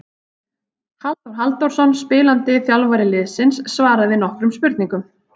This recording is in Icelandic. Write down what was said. Halldór Halldórsson spilandi þjálfari liðsins svaraði nokkrum spurningum.